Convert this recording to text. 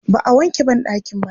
Ba a wanke banɗakin baƙi.